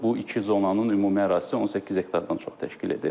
Bu iki zonanın ümumi ərazisi 18 hektardan çox təşkil edir.